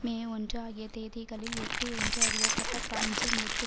மே ஒன்று ஆகிய தேதிகளில் எட்டு என்று அறியப்பட்ட பிரான்சின் எட்டு